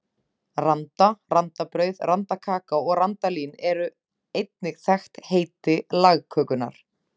Randa, randabrauð, randakaka og randalín eru einnig þekkt heiti lagkökunnar.